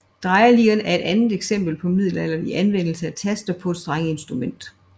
Drejeliren er et andet eksempel på middelalderlig anvendelse af taster på et strengeinstrument